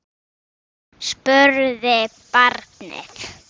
spurði barnið.